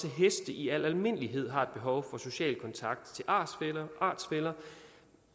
heste i al almindelighed har et behov for social kontakt til artsfæller artsfæller